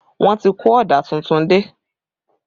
Wọ́n ti kó ọ̀dà tuntun dé